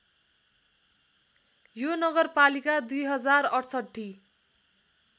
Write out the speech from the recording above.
यो नगरपालिका २०६८